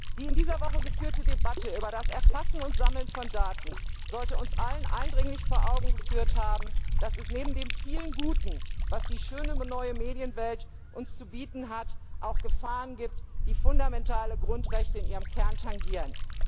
Die in dieser Woche geführte Debatte über das Erfassen und Sammeln von Daten sollte uns allen eindringlich vor Augen geführt haben, dass es neben dem vielen Guten, was die schöne neue Medienwelt uns zu bieten hat, auch Gefahren gibt, die fundamentale Grundrechte in ihrem Kern tangieren.